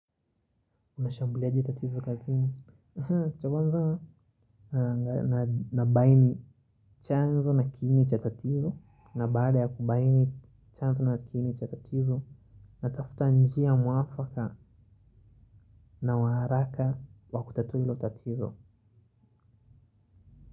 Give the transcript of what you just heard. Unashambuliaje tatizo kakini. Cha kwanza nabaini chanzo na kiini cha tatizo. Na baada ya kubaini chanzo na kiini cha tatizo. Natafuta njia mwafaka na uharaka wa kutatuo hilo tatizo.